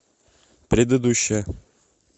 предыдущая